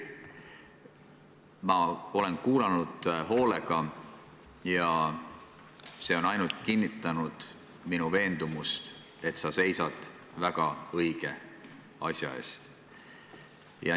Ma olen hoolega kuulanud ja see on ainult kinnitanud minu veendumust, et sa seisad väga õige asja eest.